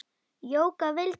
Jóka vildi.